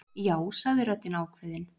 Já, sagði röddin ákveðin.